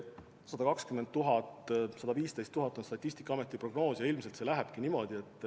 120 000 kuni 115 000 on Statistikaameti prognoos ja ilmselt see lähebki niimoodi.